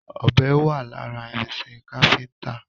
Ọ̀bẹ wà lára irinṣẹ́ Káfíntà.